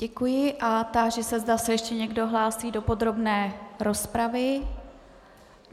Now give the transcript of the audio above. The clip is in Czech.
Děkuji a táži se, zda se ještě někdo hlásí do podrobné rozpravy.